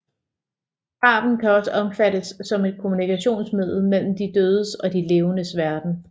Graven kan også opfattes som et kommunikationsmiddel mellem de dødes og de levendes verden